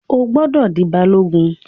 O gbọdọ̀ di Balogun.